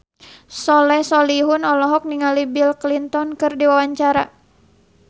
Soleh Solihun olohok ningali Bill Clinton keur diwawancara